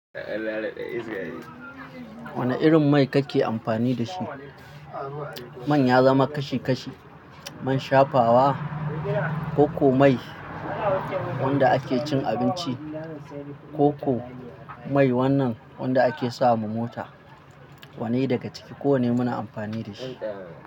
Wane irin mai kake amfani da shi? Man ya zama kashi kashi, man shafawa, koko mai wanda ake cin abinci, koko mai wannan wanda ake sama mota. Wanne daga ciki kowanne muna amfani da shi.